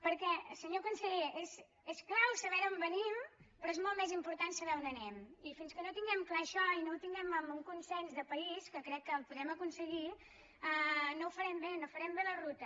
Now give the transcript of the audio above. perquè senyor conseller és clau saber d’on venim però és molt més important saber on anem i fins que no tinguem clar això i no tinguem un consens de país que crec que el podem aconseguir no ho farem bé no farem bé la ruta